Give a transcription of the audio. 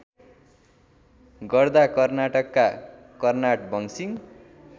गर्दा कर्नाटकका कर्नाटवंशी